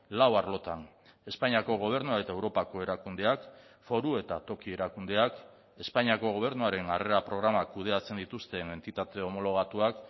lau arlotan espainiako gobernua eta europako erakundeak foru eta toki erakundeak espainiako gobernuaren harrera programak kudeatzen dituzten entitate homologatuak